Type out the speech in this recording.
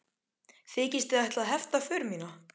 Þykist þið ætla að hefta för mína?